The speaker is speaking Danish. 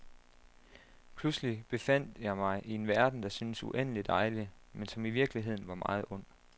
Pludselig befandt jeg mig i en verden, der syntes uendelig dejlig, men som i virkeligheden var meget ond.